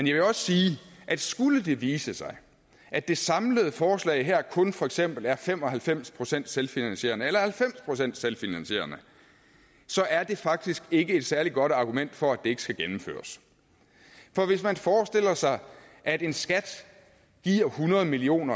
jeg vil også sige at skulle det vise sig at det samlede forslag her kun for eksempel er fem og halvfems procent selvfinansierende eller halvfems procent selvfinansierende så er det faktisk ikke et særlig godt argument for at det ikke skal gennemføres for hvis man forestiller sig at en skat giver hundrede million